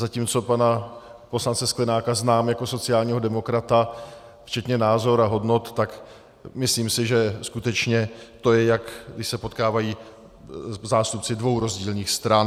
Zatímco pana poslance Sklenáka znám jako sociálního demokrata včetně názorů a hodnot, tak myslím si, že skutečně to je, jak když se potkávají zástupci dvou rozdílných stran.